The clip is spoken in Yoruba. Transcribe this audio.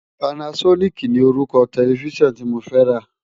Pànásònikí ni órúkò tèlèfisán ti mó rá làná